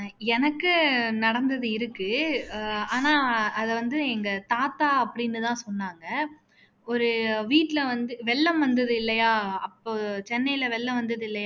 எனக்கு நடந்தது இருக்கு அஹ் ஆனா அதை வந்து எங்க தாத்தா அப்படின்னு தான் சொன்னங்க ஒரு வீட்டுல வந்து வெள்ளம் வந்தது இல்லையா அப்போ சென்னையில வெள்ளம் வந்தது